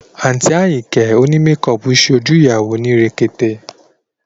Àǹtí Àyìnkẹ́ òní mekọọ̀pù ṣe ojú ìyàwó ní rekete